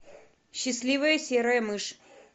счастливая серая мышь